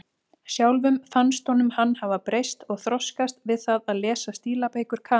Sjálfum fannst honum hann hafa breyst og þroskast við það að lesa stílabækur Kamillu.